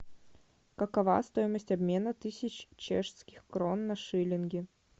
какова стоимость обмена тысяч чешских крон на шиллинги